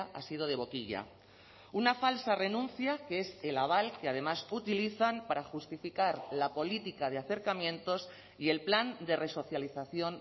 ha sido de boquilla una falsa renuncia que es el aval que además utilizan para justificar la política de acercamientos y el plan de resocialización